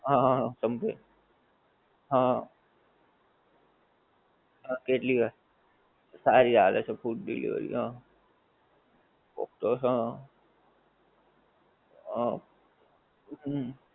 હં હં હં સબવે હં. હં કેટલી વાર. સારી આલે છે food delivery હં. ઑક્ટસ્ હં. હમ્મ.